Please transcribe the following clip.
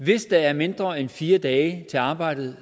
hvis der er mindre end fire dage til arbejdet